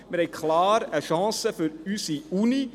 Wir haben klar eine Chance für unsere Universität.